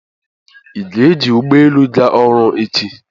ị ga-eji ụgbọ elu ga ọrụ echi